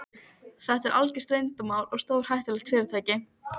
Þetta er algjört leyndarmál og stórhættulegt fyrirtæki.